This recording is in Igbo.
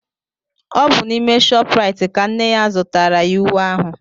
Ọ bụ n'ime ShopRite ka nne ya zụtaara ya uwe ahụ.